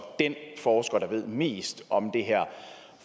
den forsker der ved mest om